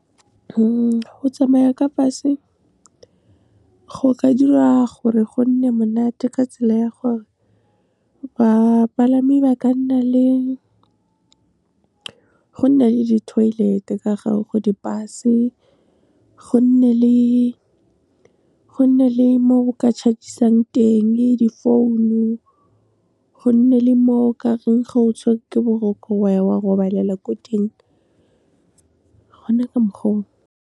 Go tsamaya ka bus-e, go ka dira gore go nne monate ka tsela ya gore, bapalami ba ka nna le, go nne le di-toilet-e ka gare go di-bus-e, go nne le mo o ka chargeisang teng, di-phone-o, go nne le moo ka reng ga o tshwerwe ke boroko, wa ya wa robalela ko teng gona ka mokgwa oo.